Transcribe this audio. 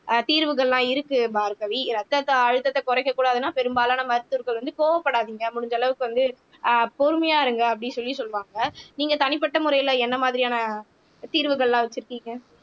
ஆஹ் தீர்வுகள்லாம் இருக்கு பார்கவி இரத்தத்த அழுத்தத்தை குறைக்கக்கூடாதுன்னா பெரும்பாலான மருத்துவர்கள் வந்து கோபப்படாதீங்க முடிஞ்ச அளவுக்கு வந்து ஆஹ் பொறுமையா இருங்க அப்படின்னு சொல்லி சொல்லுவாங்க நீங்க தனிப்பட்ட முறையில என்ன மாதிரியான தீர்வுகள்லாம் வச்சிருக்கீங்க